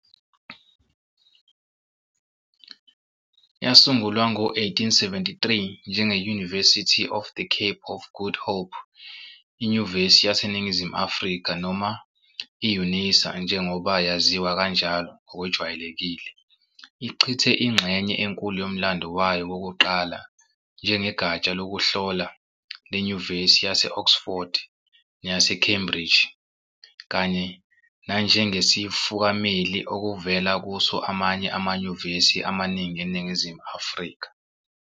Yasungulwa ngo-1873 njenge-University of the Cape of Good Hope, i-Nyuvesi yaseNingizimu Afrika, noma i-Unisa njengoba yaziwa kanjalo ngokwejwayelekile, ichithe ingxenye enkulu yomlando wayo wokuqala njengegatsha lokuhlola lenyuvesi yase-Oxford neyaseCambridge kanye nanjengesifukameli okuvela kuso amanye amanyuvesi amaningi eNingizimu Afrika.